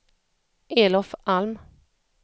Elof Alm